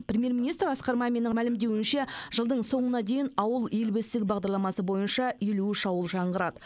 премьер министр асқар маминнің мәлімдеуінше жылдың соңына дейін ауыл ел бесігі бағдарламасы бойынша елу үш ауыл жаңғырады